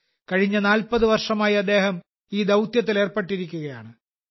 കഴിഞ്ഞ 40 വർഷമായി അദ്ദേഹം ഈ ദൌത്യത്തിൽ ഏർപ്പെട്ടിരിക്കുകയാണ്